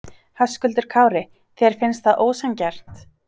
Höskuldur Kári: Þér finnst það ósanngjarnt?